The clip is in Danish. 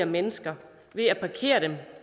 mennesker ved at parkere dem